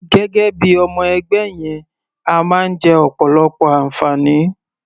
Gẹ́gẹ́ bí i ọmọ-ẹgbẹ́ yẹn, a máa ń jẹ ọ̀pọ̀lọpọ̀ àǹfààní.